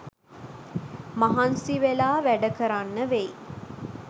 මහන්සිවෙලා වැඩකරන්න වෙයි